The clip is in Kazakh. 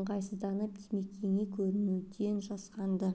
ыңғайсызданып димекеңе көрінуден жасқанды